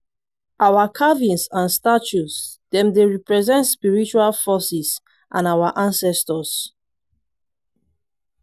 our carvings and statues dem dey represent spiritual forces and our ancestors.